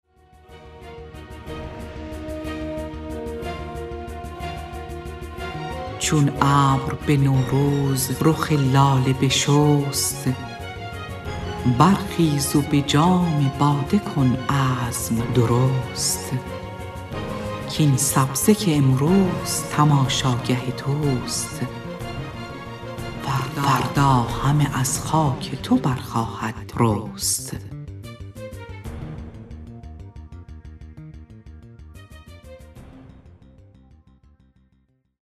چون ابر به نوروز رخ لاله بشست برخیز و به جام باده کن عزم درست کاین سبزه که امروز تماشاگه توست فردا همه از خاک تو برخواهد رست